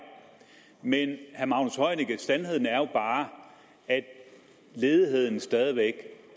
men sandheden er jo bare at ledigheden stadig væk